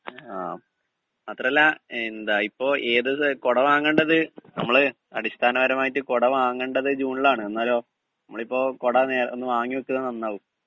speaker 2 ങാ മാത്രവുമല്ല എന്താ ഇപ്പോ ഏത് കുട വാങ്ങേണ്ടത് അടിസ്ഥാനപരമായിട്ട് കുട വാങ്ങേണ്ടത് ജൂണിലാണ് എന്നാലോ മ്മളിപ്പോ കുട ഒന്ന് വാങ്ങി വെക്കുന്നത് നന്നാകും